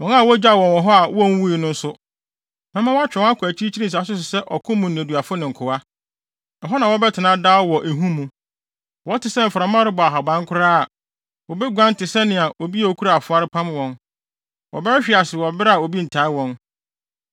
“ ‘Wɔn a wogyaw wɔn hɔ a wonwui no nso, mɛma wɔatwe wɔn akɔ akyirikyiri nsase so sɛ ɔko mu nneduafo ne nkoa. Ɛhɔ na wɔbɛtena daa wɔ ehu mu. Wɔte sɛ mframa rebɔ ahaban koraa a, wobeguan te sɛ nea obi a okura afoa repam wɔn; wɔbɛhwehwe ase wɔ bere a obi ntaa wɔn.